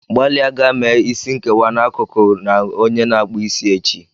Gbalịa gaa mee isi nkewa n'akụkụ na onye na-akpụ isi echi.